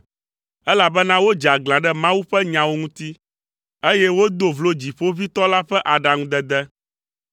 elabena wodze aglã ɖe Mawu ƒe nyawo ŋuti, eye wodo vlo Dziƒoʋĩtɔ la ƒe aɖaŋudede.